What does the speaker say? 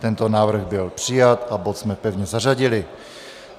Tento návrh byl přijat a bod jsme pevně zařadili.